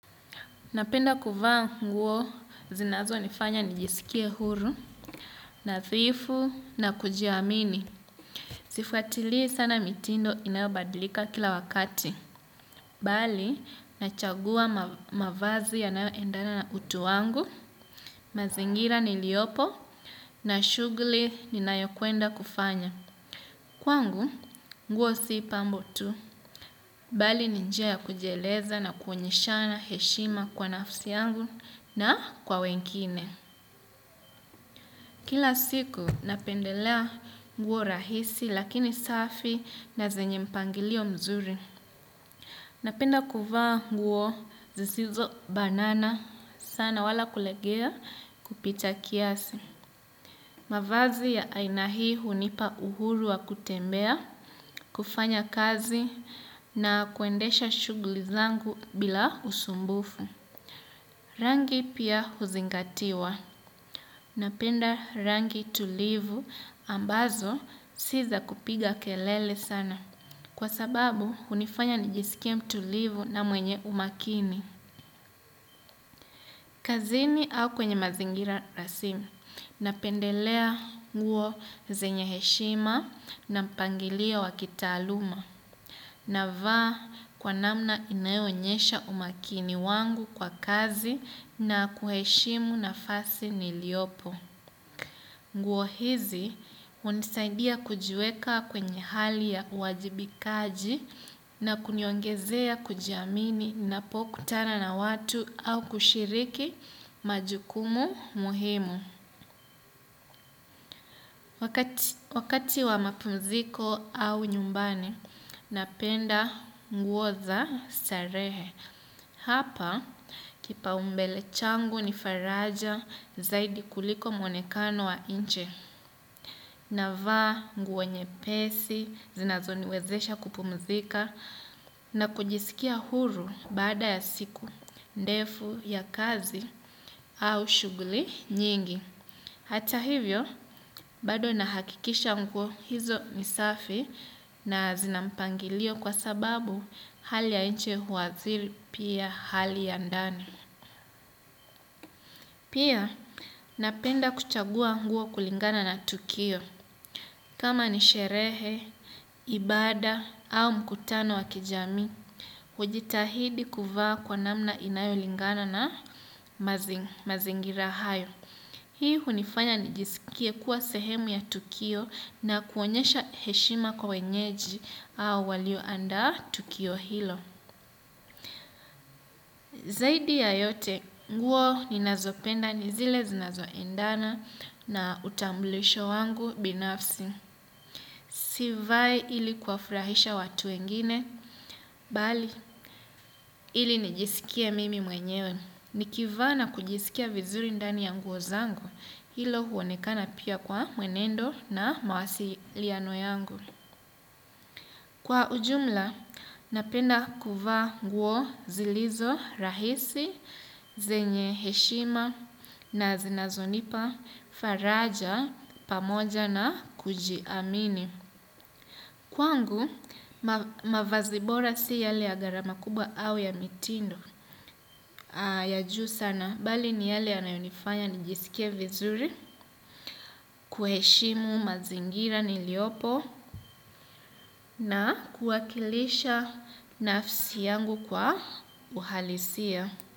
Napenda kuvaa nguo zinazonifanya nijisikie huru, nadhifu na kujiamini. Sifuatilii sana mitindo inayobadlika kila wakati. Bali, nachagua mavazi yanayoendana na utu wangu, mazingira niliopo, na shughuli ninayo kwenda kufanya. Kwangu, nguo si pambo tu, bali ni njia ya kujieleza na kuonyeshana heshima kwa nafsi yangu na kwa wengine. Kila siku napendelea nguo rahisi lakini safi na zenye mpangilio mzuri. Napenda kuvaa nguo zisizobanana sana wala kulegea kupita kiasi. Mavazi ya aina hii hunipa uhuru wa kutembea, kufanya kazi na kuendesha shughuli zangu bila usumbufu. Rangi pia huzingatiwa. Napenda rangi tulivu ambazo si za kupiga kelele sana. Kwa sababu, hunifanya nijisikie mtulivu na mwenye umakini. Kazini au kwenye mazingira rasmi. Napendelea nguo zenye heshima na mpangilio wa kitaaluma. Navaa kwa namna inayoonyesha umakini wangu kwa kazi na kuheshimu nafasi niliopo. Nguo hizi hunisaidia kujiweka kwenye hali ya uwajibikaji na kuniongezea kujiamini napokutana na watu au kushiriki majukumu muhimu. Wakati wa mapumziko au nyumbani, napenda nguo za starehe. Hapa, kipaumbele changu ni faraja zaidi kuliko mwonekano wa nchi. Navaa nguo nyepesi, zinazoniwezesha kupumzika, na kujisikia huru baada ya siku, ndefu ya kazi au shughuli nyingi. Hata hivyo, bado nahakikisha nguo hizo ni safi na zina mpangilio kwa sababu hali ya nchi huadhiri pia hali ya ndani. Pia, napenda kuchagua nguo kulingana na tukio. Kama ni sherehe, ibada au mkutano wa kijamii, hujitahidi kuvaa kwa namna inayolingana na mazingira hayo. Hii hunifanya nijisikie kuwa sehemu ya tukio na kuonyesha heshima kwa wenyeji au walioandaa tukio hilo. Zaidi ya yote, nguo ninazopenda, ni zile zinazoendana na utambulisho wangu binafsi. Sivai ili kuwafurahisha watu wengine, bali ili nijisikie mimi mwenyewe. Nikivaa na kujisikia vizuri ndani ya nguo zangu, hilo huonekana pia kwa mwenendo na mawasiliano yangu. Kwa ujumla, napenda kuvaa nguo zilizo rahisi, zenye heshima na zinazonipa, faraja, pamoja na kujiamini. Kwangu, mavazi bora si yale ya gharama kubwa au ya mitindo. Ya juu sana, bali ni yale anayonifanya nijisikie vizuri, kuheshimu mazingira niliopo na kuwakilisha nafsi yangu kwa uhalisia.